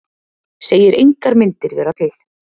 Segir engar myndir vera til